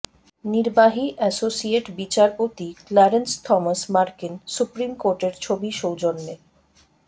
নির্বাহী অ্যাসোসিয়েট বিচারপতি Clarence Thomas মার্কিন সুপ্রিম কোর্টের ছবি সৌজন্যে